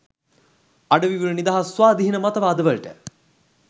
අඩවිවල නිදහස් ස්වාධීන මතවාද වලට